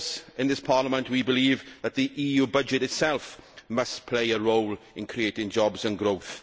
In this Parliament, we believe that the EU budget itself must play a role in creating jobs and growth.